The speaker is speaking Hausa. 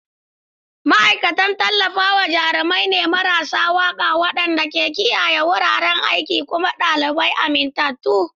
Ma'aikatan Tallafawa jarumai ne marasa waƙa waɗanda ke kiyaye wuraren aiki kuma ɗalibai amintattu.